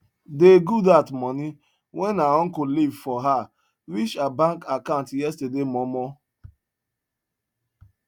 dey goodheart moni wen her uncle leave for her reach her bank accant yesterday momo